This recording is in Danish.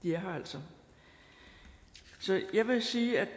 er her altså så jeg vil sige at